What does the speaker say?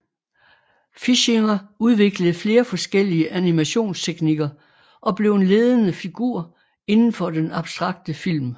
Fischinger udviklede flere forskellige animationstekniker og blev en ledende figur indenfor den abstrakte film